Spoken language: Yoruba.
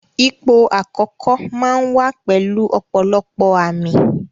Ipò àkókò máa ń wá pẹ̀lú ọ̀pọ̀lọpọ̀ àmì